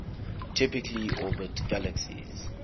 typically orbit galaxies